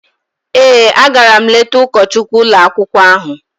Ee, agara m letaa ụkọchukwu ụlọakwụkwọ ahụ.